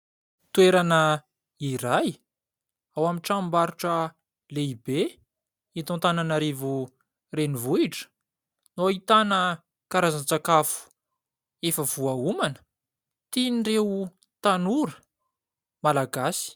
Toerana iray ao amin'ny tranombarotra lehibe hita ao Antananarivo renivohitra no ahitana karazan-tsakafo efa voaomana, tian' ireo tanora malagasy.